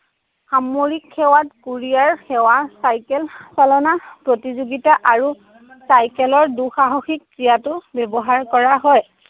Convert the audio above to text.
সামৰিক সেৱা, courier সেৱা চাইকেল চালনা প্ৰতিযোগিতা আৰু চাইকেলৰ দুঃসাহসিক ক্ৰীড়াতো ব্যৱহাৰ কৰা হয়।